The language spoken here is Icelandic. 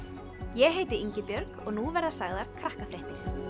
ég heiti Ingibjörg og nú verða sagðar Krakkafréttir